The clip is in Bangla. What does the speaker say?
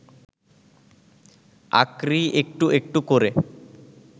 আক্রি একটু একটু করে